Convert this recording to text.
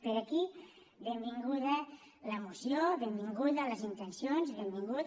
per aquí benvinguda la moció benvingudes les intencions i benvingut